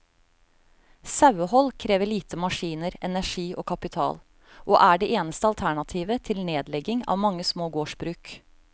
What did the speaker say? Sauehold krever lite maskiner, energi og kapital, og er det eneste alternativet til nedlegging av mange små gårdsbruk.